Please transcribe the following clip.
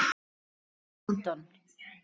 í London.